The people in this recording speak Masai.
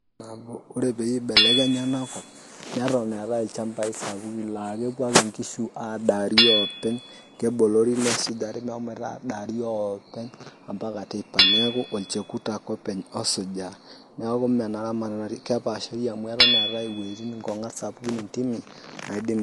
Ore peyie ibelekenya enakop, neton eetae ilchambai sapukin lakepuo ake nkishu adaari openy, kebolori nesujari meshomoita adaari openy, ampaka teipa. Neeku olchekut ake openy osujita. Neeku menaramatata kepaashari amu eton eetae iwoiting' nkong'at intimi, naidim.